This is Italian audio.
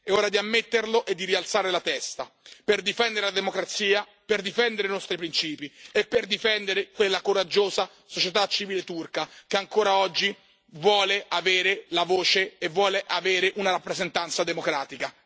È ora di ammetterlo e di rialzare la testa, per difendere la democrazia, per difendere i nostri principi e per difendere quella coraggiosa società civile turca che ancora oggi vuole avere la voce e vuole avere una rappresentanza democratica.